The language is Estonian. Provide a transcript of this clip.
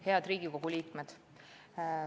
Head Riigikogu liikmed!